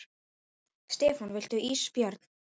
Stefán: Viltu ís Björn?